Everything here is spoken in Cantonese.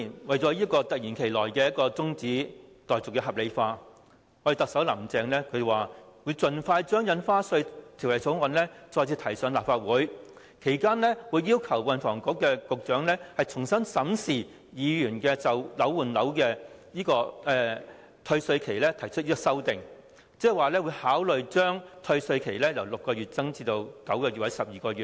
為了令突如其來的休會待續議案合理化，特首"林鄭"表示，會盡快將《條例草案》再次提交立法會，其間會要求運輸及房屋局局長重新審視議員就換樓退稅期提出的修訂，即考慮將退稅期由6個月延長至9個月或12個月。